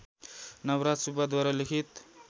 नवराज सुब्बाद्वारा लिखित